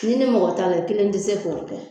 N'i ni mɔgɔ t'a la i kelen tɛ se k'o kɛ.